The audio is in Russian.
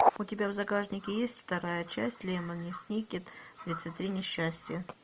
у тебя в загашнике есть вторая часть лемони сникет тридцать три несчастья